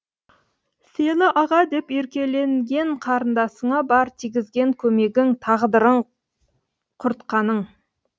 сені аға деп еркеленген қарындасыңа бар тигізген көмегің тағдырын құртқаның